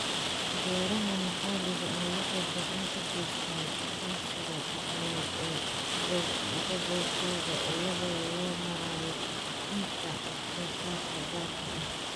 Beeraha maxalliga ahi waxay gacan ka geystaan ??aqoonsiga dhaqameed ee gobolkooda iyada oo loo marayo bixinta wax-soo-saarka gaarka ah.